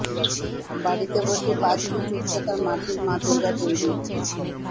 বাড়িতে বসেই পাঁচ ফুট উচ্চতার মাটির মা দূর্গা তৈরি